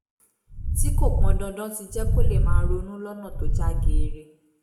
tí kò pọn dandan ti jẹ́ kó lè máa ronú lọ́nà tó já geere